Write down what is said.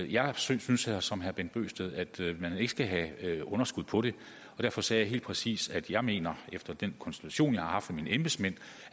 jeg synes synes som herre bent bøgsted at man ikke skal have underskud på det og derfor sagde jeg helt præcis at jeg mener efter den konsultation jeg har haft med mine embedsmænd